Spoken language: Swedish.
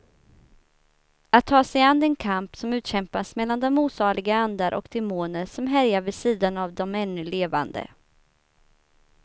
Att ta sig an den kamp som utkämpas mellan de osaliga andar och demoner som härjar vid sidan av de ännu levande.